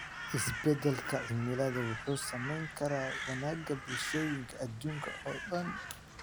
Isbeddelka cimilada wuxuu saameyn karaa wanaagga bulshooyinka adduunka oo dhan.